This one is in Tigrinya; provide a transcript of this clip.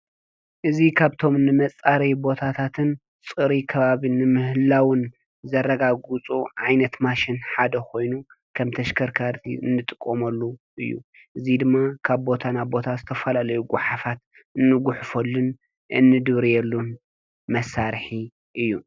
እዚ ካብቶም ንመፃረዪ ቦታታትን ፅሩይ ከባቢ ንምህላዉን ዘረጋግፁ ዓይነት ማሽን ሓደ ኮይኑ ከም ተሽከርከርቲ እንጥቀመሉ እዩ፡፡ እዚ ድማ ካብ ቦታ ናብ ቦታ ዝተፈላለዩ ጐሓፋት እንጒሕፈሉን እንድርብየሉን መሳርሒ እዩ፡፡